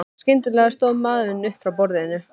Skyndilega stóð maðurinn upp frá borðum.